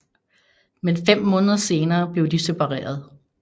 Men fem måneder senere blev de separeret